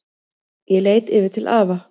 Ég leit yfir til afa.